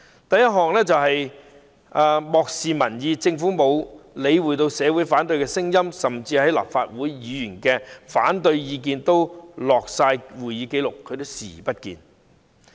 第一，漠視民意：政府沒理會社會上的反對聲音，就連立法會議員紀錄在案的反對意見也視而不見。